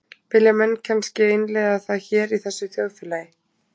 Vilja menn kannske innleiða það hér í þessu þjóðfélagi?